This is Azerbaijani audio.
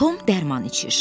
Tom dərman içir.